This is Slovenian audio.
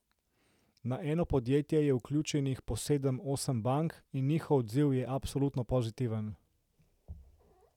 Na eno podjetje je vključenih po sedem, osem bank in njihov odziv je absolutno pozitiven.